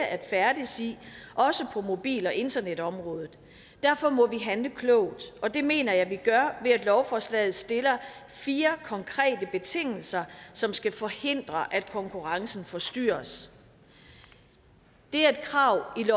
at færdes i også på mobil og internetområdet derfor må vi handle klogt og det mener jeg vi gør ved at lovforslaget stiller fire konkrete betingelser som skal forhindre at konkurrencen forstyrres det er et krav i